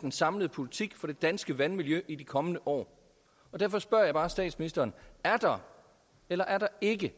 den samlede politik for det danske vandmiljø i de kommende år derfor spørger jeg bare statsministeren er der eller er der ikke